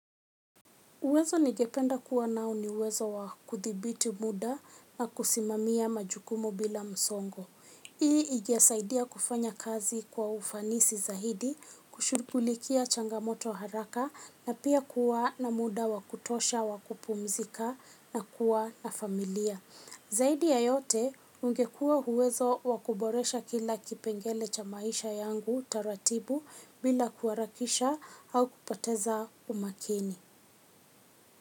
Uwezo ningependa kuwa nao niuwezo wakuthibiti muda na kusimamia majukumu bila msongo. Hii ingesaidia kufanya kazi kwa ufanisi zaidi, kushughulikia changamoto haraka na pia kuwa na muda wakutosha, wakupumzika na kuwa na familia. Zaidi ya yote ungekuwa uwezo wakuboresha kila kipengele cha maisha yangu taratibu bila kuharakisha au kupoteza umakini.